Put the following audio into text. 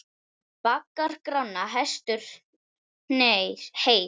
Baggar Grána hestur heys.